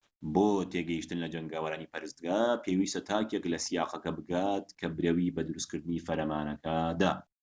بۆ تێگەیشتن لە جەنگاوەرانی پەرستگا پێویستە تاکێک لە سیاقەکە بگات کە برەوی بە دروست کردنی فەرمانەکە دا